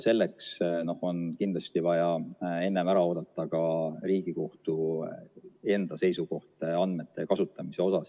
Selleks on kindlasti vaja ära oodata ka Riigikohtu seisukoht andmete kasutamise kohta.